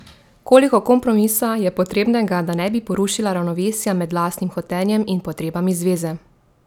Koliko kompromisa je potrebnega, da ne bi porušila ravnovesja med lastnim hotenjem in potrebami zveze?